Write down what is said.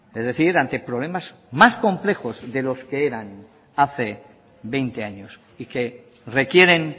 es decir ante problemas más complejos de los que eran hace veinte años y que requieren